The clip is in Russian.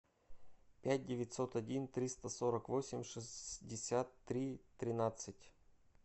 пять девятьсот один триста сорок восемь шестьдесят три тринадцать